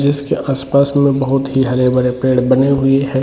जिसके आस-पास में बहुत ही हरे-भरे पेड़ बने हुये हैं।